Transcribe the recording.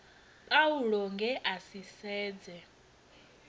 paulo nge a si sedze